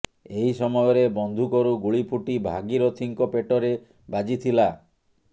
ଏହି ସମୟରେ ବନ୍ଧୁକରୁ ଗୁଳି ଫୁଟି ଭାଗୀରଥିଙ୍କ ପେଟରେ ବାଜିଥିଲା